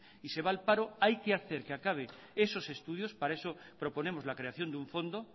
y se va al paro hay que hacer que acabe esos estudios para eso proponemos la creación de un fondo